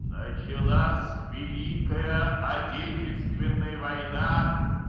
началась великая отечественная война